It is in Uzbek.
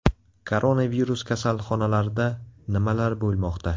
Koronavirus kasalxonalarida nimalar bo‘lmoqda?